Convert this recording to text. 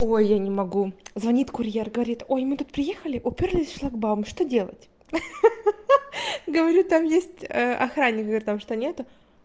ой я не могу звонит курьер говорит ой мы тут приехали упёрлись в шлагбаум что делать ха-ха говорю там есть охранник говорю там что нет